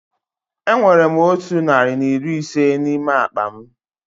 Enwere m otụ narị na iri ise n'ime akpa m